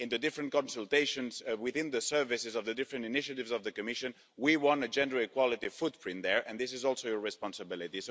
In the different consultations within the services of the different initiatives of the Commission, we want a gender equality footprint there, and this is also your responsibility.